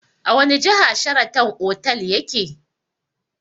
A wani jiha Sharatan otal yake?